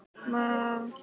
ég sá það ekki nógu vel.